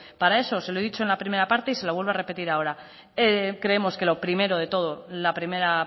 para eso se lo he dicho en la primera parte y se lo vuelvo a repetir ahora creemos que lo primero de todo la primera